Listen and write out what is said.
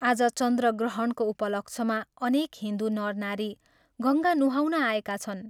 आज चन्द्रग्रहणको उपलक्ष्यमा अनेक हिन्दू नरनारी गंगा नुहाउन आएका छन्।